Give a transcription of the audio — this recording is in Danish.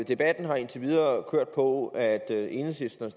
debatten har indtil videre kørt på at enhedslisten